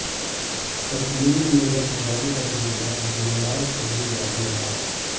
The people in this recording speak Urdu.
کشمیر میں برف باری کا سلسلہ جمعرات کو بھی جاری رہا